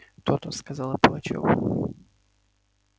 то-то сказал я пугачёву